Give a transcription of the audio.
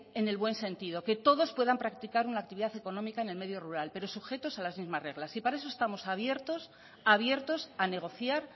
en el buen sentido que todos puedan practicar una actividad económica en el medio rural pero sujetos a las mismas reglas y para eso estamos abiertos a negociar